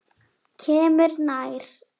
Kemur nær.